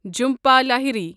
Jhumpa Lahiri